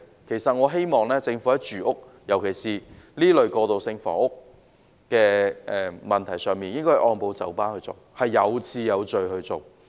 其實我希望政府在住屋，尤其是在這類過渡性房屋的問題上，應該按部就班、有次有序地做。